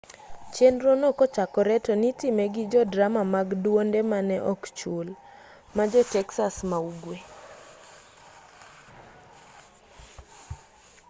chenro no kochakore to nitime gi jodrama mag dwonde mane ok chul ma jo texas ma ugwe